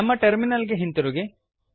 ನಮ್ಮ ಟರ್ಮಿನಲ್ ಗೆ ಹಿಂತಿರುಗಿ